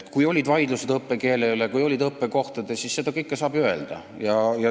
Kui olid vaidlused õppekeele ja õppekohtade üle, siis seda kõike saaks ju öelda.